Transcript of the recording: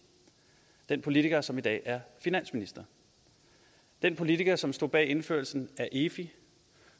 den politiker som i dag er finansminister den politiker som stod bag indførelsen af efi